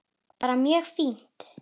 Bara mjög fínt.